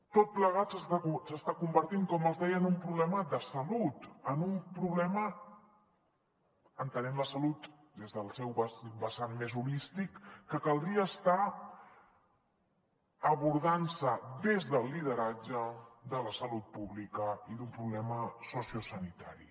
tot plegat s’està convertint com els deia en un problema de salut en un problema entenent la salut des del seu vessant més holístic que caldria estar abordant des del lideratge de la salut pública i d’un problema sociosanitari